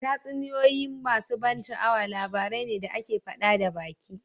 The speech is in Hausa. Tatsuniyoyi masu ban sha'awa labarai ne da ake faɗa da baki